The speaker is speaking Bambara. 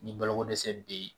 Ni baloko dɛsɛ bɛ yen